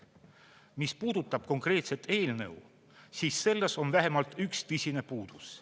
Mis puudutab konkreetset eelnõu, siis selles on vähemalt üks tõsine puudus.